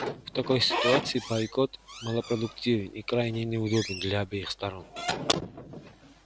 в такой ситуации бойкот малопродуктивен и крайне неудобен для обеих сторон